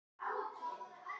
Hverjir ætli kosti kaupin?